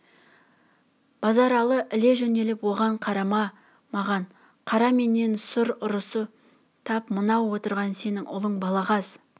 базаралы іле жөнеліп оған қарама маған қара менен сұра ұрысы тап мынау отырған сенің ұлың балағаз